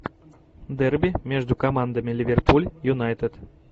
дерби между командами ливерпуль юнайтед